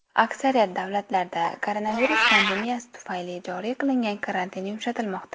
Aksariyat davlatlarda koronavirus pandemiyasi tufayli joriy qilingan karantin yumshatilmoqda.